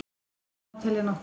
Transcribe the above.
Ástæður má telja nokkrar.